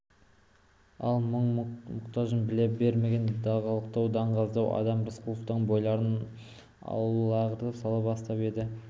мұң-мұқтажын біле бермейтін даңғалақтау даңғазалау адам рысқұловтан бойларын аулағырақ сала бастап еді